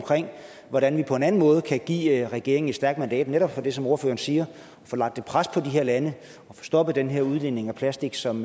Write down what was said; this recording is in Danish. hvordan vi på en anden måde kan give regeringen et stærkt mandat netop for som ordføreren siger at få lagt et pres på de her lande og få stoppet den her udledning af plastik som